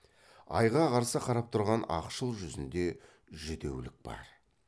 айға қарсы қарап тұрған ақшыл жүзінде жүдеулік бар